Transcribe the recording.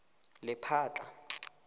lephatla